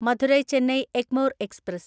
Madurai Chennai Egmore express